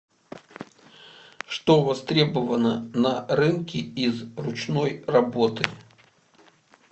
что востребовано на рынке из ручной работы